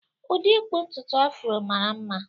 Ụdị ịkpụ ntutu Afro mara mma